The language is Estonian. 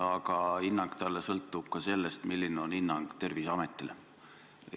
Aga hinnang talle sõltub ka sellest, milline on hinnang Terviseametile.